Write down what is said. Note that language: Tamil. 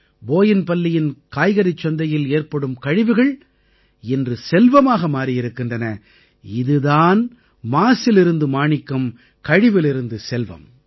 போயின்பல்லியின் காய்கறிச் சந்தையில் ஏற்படும் கழிவுகள் இன்று செல்வமாக மாறியிருக்கின்றன இது தான் மாசிலிருந்து மாணிக்கம் கழிவிலிருந்து செல்வம்